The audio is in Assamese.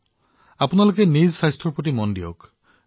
আপোনালোকে আপোনালোকৰ স্বাস্থ্যৰ প্ৰতিও যথেষ্ট মনোযোগ দিয়া উচিত